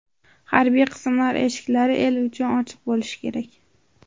Harbiy qismlar eshiklari el uchun ochiq bo‘lishi kerak.